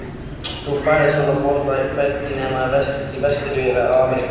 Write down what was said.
Þú færð svona bolta hvergi nema vestur í Ameríku.